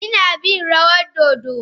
Ina bin rawar dodo.